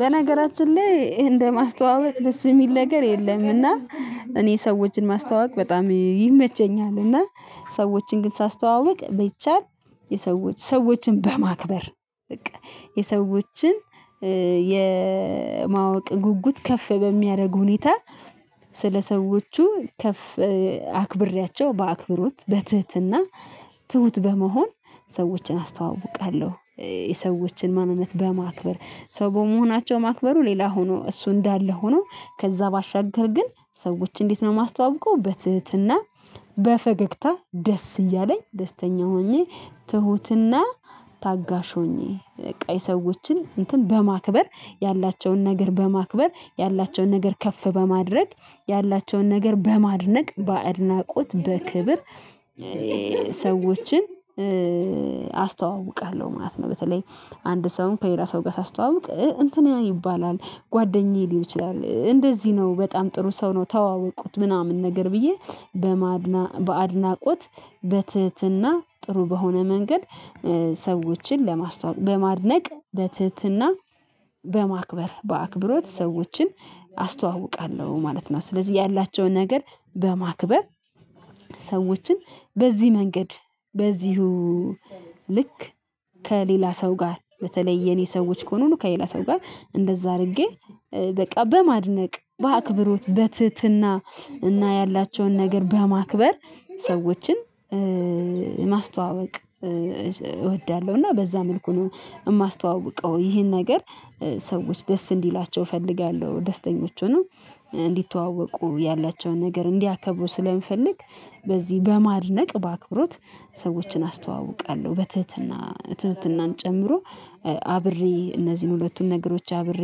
በነገራችን ላይ እንደ ማስተዋወቅ ደስ ሚል ነገር የለም እና። እኔ ሰዎችን ማስተዋወቅ በጣም ይመቸኛል እና ሰዎችን ግን ሳስተዋውቅ ቢቻል የሰዎች ሰዎችን በማክበር በቃ የሰዎችን የማወቅ ጉጉት ከፍ በሚያረግ ሁኔታ ስለሰዎቹ ከፍ አክብሬያቸው በአክብሮት በትህትና ትሁት በመሆን ሰዎችን አስተዋውቃለሁ። የሰዎችን ማንነት በማክበር ሰው በመሆናቸው ማክበሩ ሌላ ሆኖ እሱ እንዳለ ሆኖ ከዛ ባሻገር ግን ሰዎች እንዴት ነው ማስተዋውቀው በትህትና በፈገግታ ደስ እያለኝ ደስተኛ ሆኜ ትሁትና ታጋሽ ሆኜ ቀይ ሰዎችን እንትን በማክበር ያላቸውን ነገር በማክበር ያላቸውን ነገር ከፍ በማድረግ ያላቸውን ነገር በማድነቅ በአድናቆት በክብር ሰዎችን አስተዋውቃለሁ ማለት ነው። በተለይ አንድ ሰውን ከሌላ ሰው ጋ ሳስተዋውቅ እንትን ያ ይባላል ጓደኛዬ ሊል ይችላል እንደዚህ ነው በጣም ጥሩ ሰው ነው ተዋወቁት ምናምን ነገር ብዬ በማድና በአድናቆት በትህትና ጥሩ በሆነ መንገድ ሰዎችን ለማስተዋወቅ በማድነቅ በትህትና በማክበር በአክብሮት ሰዎችን አስተዋውቃለሁ ማለት ነው። ስለዚህ ያላቸውን ነገር በማክበር ሰዎችን በዚህ መንገድ በዚሁ ልክ ከሌላ ሰው ጋር በተለይ የኔ ሰዎች ከሆኑ ከሌላ ሰው ጋር እንደዛ አርጌ በቃ በማድነቅ በአክብሮት በትህትና እና ያላቸውን ነገር በማክበር ሰዎችን ማስተዋወቅ እወዳለሁ። እና በዛ መልኩ ነው እማስተዋውቀው ይሄን ነገር ሰዎች ደስ እንዲላቸው እፈልጋለሁ ደስተኞች ሆነው እንዲተዋወቁ ያላቸውን ነገር እንዲያከብሩ ስለምፈልግ በዚህ በማድነቅ በአክብሮት ሰዎችን አስተዋውቃለሁ። በትህትና ትህትናን ጨምሮ አብሬ እነዚህን ሁለቱን ነገሮች አብሬ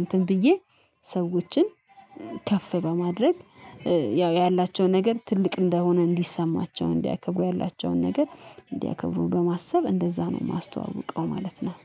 እንትን ብዬ ሰዎችን ከፍ በማድረግ ያው ያላቸው ነገር ትልቅ እንደሆነ እንዲሰማቸው እንዲያከብሩ ያላቸውን ነገር እንዲያከብሩ በማሰብ እንደዛ ነው ማስተዋውቀው ማለት ነው።